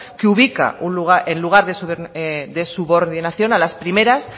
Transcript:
que ubica el lugar de subordinación a las primeras